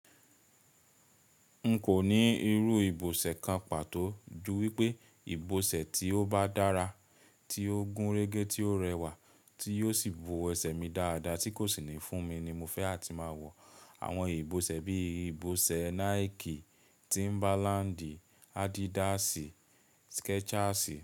N kò ní irú ìbọ̀sẹ̀ kan pàtó ju wípé ìbọ̀sẹ̀ tí ó bá dára, tí ó gún régé, tí ó rẹwà tí yóò sì bu ẹsẹ̀ mi dáadáa tí kò sì ní fún mi ni mo fẹ́ àti máa wọ̀. Àwọn ìbọ̀sẹ̀ bí ìbọ̀sẹ̀ Nike, Timberland, Adidas, Skechers.